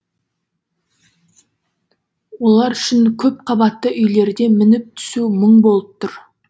олар үшін көп қабатты үйлерде мініп түсу мұң болып тұр